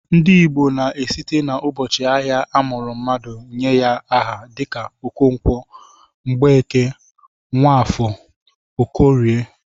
Ndị Igbo na-esite n'ụbọchị ahịa a mụrụ mmadụ nye aha dịka Okonkwo, Mgbeke, Nwafọ, Okorie